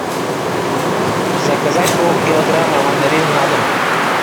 заказать полкилограмма мандарин на дом